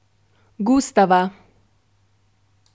Gustava.